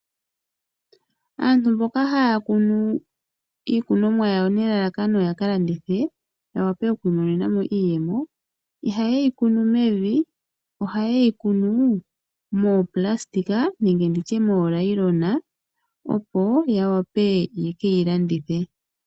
Aantu mboka haya kunu iikunomwa yawo opo yaka landithe , yawape okukunamo iiyemo ,ihayeyi kunu mevi ashike ohayeyi kunu moonayilona opo yawape yekeyi landithe.